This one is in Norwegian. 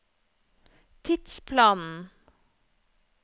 tidsplanen